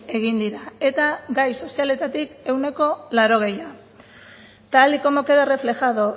egin dira eta gai sozialetatik ehuneko laurogeia tal y como queda reflejado